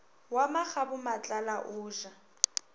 wa makgabo matlala o ja